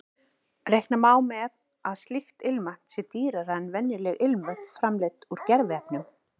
Reikna má með að slíkt ilmvatn sé dýrara en venjuleg ilmvötn framleidd úr gerviefnum.